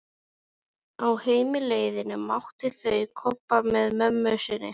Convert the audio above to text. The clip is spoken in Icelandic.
Á heimleiðinni mættu þau Kobba með mömmu sinni.